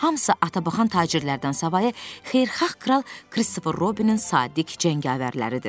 hamısı atabaxan tacirlərdən savayı xeyirxah kral Kristofer Robinin sadiq cəngavərləridir.